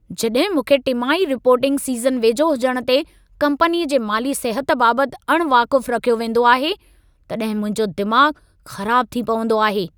जॾहिं मूंखे टिमाही रिपोर्टिंग सीज़न वेझो हुजण ते कंपनीअ जे माली सिहत बाबति अण वाक़ुफ़ रखियो वेंदो आहे, तॾहिं मुंहिंजो दिमाग़ ख़राबु थी पवंदो आहे।